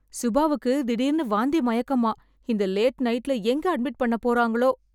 சுபாவுக்கு திடீர்னு வாந்தி, மயக்கமாம்... இந்த லேட் நைட்ல எங்கே அட்மிட் பண்ணப் போறாங்களோ...